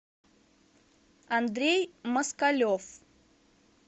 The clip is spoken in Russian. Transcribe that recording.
андрей москалев